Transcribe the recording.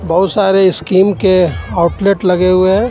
बहुत सारे स्कीम के आउटलेट लगे हुई हे.